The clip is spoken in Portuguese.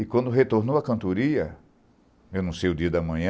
E quando retornou à cantoria, eu não sei o dia da manhã,